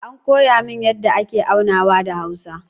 An koya min yadda ake aunawa da hausa